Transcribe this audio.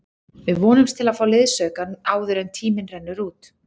Við vonumst til að fá liðsauka áður en tíminn rennur út.